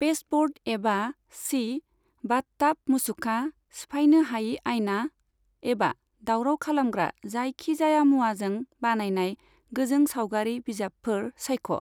Pasteboard एबा सि, bathtub मुसुखा, सिफायनो हायि आयना, एबा दावराव खालामग्रा जायखि जाया मुवाजों बानायनाय गोजों सावगारि बिजाबफोर सायख'।